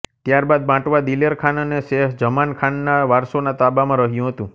ત્યાર બાદ બાંટવા દિલેરખાન અને સેહ્ર ઝમાન ખાનના વારસોના તાબામાં રહ્યું હતું